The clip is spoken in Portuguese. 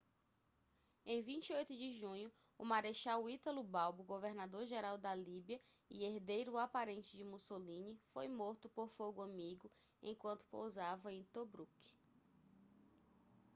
em 28 de junho o marechal italo balbo governador-geral da líbia e herdeiro aparente de mussolini foi morto por fogo amigo enquanto pousava em tobruk